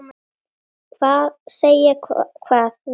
Segja hvað, vinan?